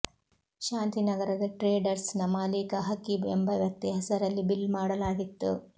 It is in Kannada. ಶಾಂತಿ ನಗರದ ಟ್ರೇಡರ್ಸ್ ನ ಮಾಲೀಕ ಹಕೀಬ್ ಎಂಬ ವ್ಯಕ್ತಿ ಹೆಸರಲ್ಲಿ ಬಿಲ್ ಮಾಡಲಾಗಿತ್ತು